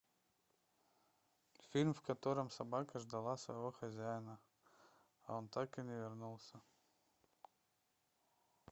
фильм в котором собака ждала своего хозяина а он так и не вернулся